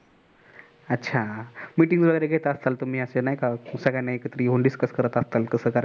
अच्छा meeting वगैरे घेत असाल तुम्ही असे नाही सगळ्यांना एकत्र घेऊन discuss करता असला कस करायचं,